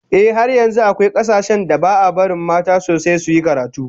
Ehh, har yanzu akwai kasashen da ba'a barin mata sosai suyi karatu